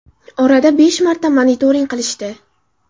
Orada besh marta monitoring qilishdi.